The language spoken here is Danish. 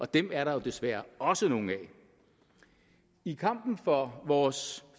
dem er der jo desværre også nogle af i kampen for vores